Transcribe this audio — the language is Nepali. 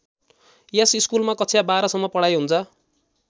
यस स्कुलमा कक्षा १२ सम्म पढाइ हुन्छ।